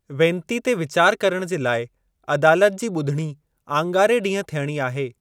वेनती ते वीचार करणु जे लाइ अदालत जी ॿुधणी आङारे ॾींहं थियणी आहे।